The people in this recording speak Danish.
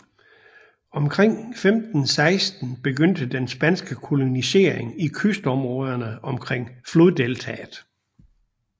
Omkring 1516 begyndte den spanske kolonisering i kystområderne omkring floddeltaet